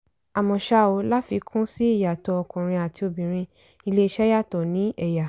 àmọ́ ṣá o láfikún sí ìyàtọ̀ ọkùnrin àti obìnrin iléeṣẹ́ yàtọ̀ ní ẹ̀yà.